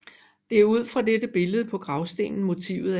Det er ud fra dette billede på gravstenen motivet er hentet